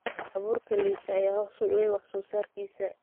Abuurka liita ayaa hoos u dhigay wax soo saarkiisa.